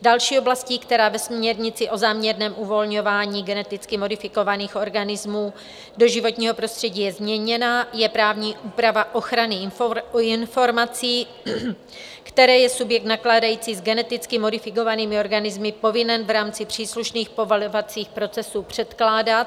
Další oblastí, která ve směrnici o záměrném uvolňování geneticky modifikovaných organismů do životního prostředí je změněna, je právní úprava ochrany informací, které je subjekt nakládající s geneticky modifikovanými organismy povinen v rámci příslušných povolovacích procesů předkládat